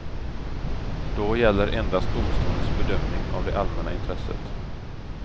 Då gäller endast domstolens bedömning av det allmänna intresset.